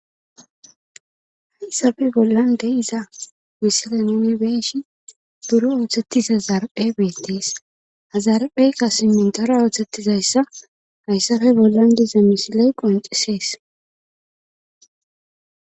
hayssafe bollan de'iza missilen nbeshi buro ooththettiza zaraphe beettees hazarapheykka simintora ooththettizayssa hayssafe bollan diza misiley qoncisees